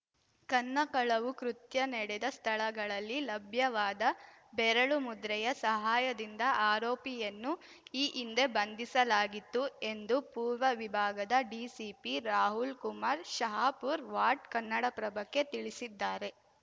ಕನ್ನ ಕಳವು ಕೃತ್ಯ ನಡೆದ ಸ್ಥಳಗಳಲ್ಲಿ ಲಭ್ಯವಾದ ಬೆರಳು ಮುದ್ರೆಯ ಸಹಾಯದಿಂದ ಆರೋಪಿಯನ್ನು ಈ ಹಿಂದೆ ಬಂಧಿಸಲಾಗಿತ್ತು ಎಂದು ಪೂರ್ವ ವಿಭಾಗದ ಡಿಸಿಪಿ ರಾಹುಲ್‌ ಕುಮಾರ್ ಶಹಾಪುರ್ ವಾಡ್‌ ಕನ್ನಡಪ್ರಭಕ್ಕೆ ತಿಳಿಸಿದ್ದಾರೆ